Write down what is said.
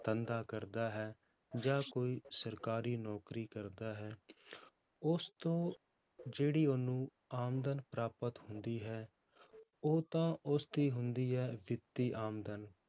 ਧੰਦਾ ਕਰਦਾ ਹੈ, ਜਾਂ ਕੋਈ ਸਰਕਾਰੀ ਨੌਕਰੀ ਕਰਦਾ ਹੈ ਉਸ ਤੋਂ ਜਿਹੜੀ ਉਹਨੂੰ ਆਮਦਨ ਪ੍ਰਾਪਤ ਹੁੰਦੀ ਹੈ, ਉਹ ਤਾਂ ਉਸਦੀ ਹੁੰਦੀ ਹੈ ਵਿੱਤੀ ਆਮਦਨ,